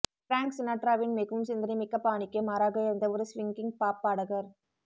Frank சினாட்ராவின் மிகவும் சிந்தனைமிக்க பாணிக்கு மாறாக இருந்த ஒரு ஸ்விங்கிங் பாப் பாடகர்